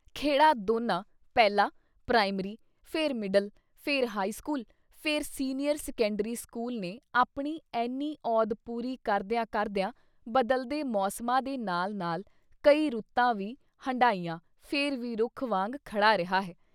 ਖੈੜਾ ਦੋਨਾਂ ਪਹਿਲਾਂ ਪ੍ਰਾਇਮਰੀ, ਫਿਰ ਮਿਡਲ, ਫਿਰ ਹਾਈ ਸਕੂਲ, ਫਿਰ ਸੀਨੀਅਰ ਸੈਕੰਡਰੀ ਸਕੂਲ ਨੇ ਆਪਣੀ ਐਨੀ ਅਉਧ ਪੂਰੀ ਕਰਦਿਆਂ ਕਰਦਿਆਂ ਬਦਲਦੇ ਮੌਸਮਾਂ ਦੇ ਨਾਲ-ਨਾਲ ਕਈ ਰੁੱਤਾਂ ਵੀ ਹੰਢਾਈਆਂ, ਫਿਰ ਵੀ ਰੁੱਖ ਵਾਂਗ ਖੜ੍ਹਾ ਰਿਹਾ ਹੈ।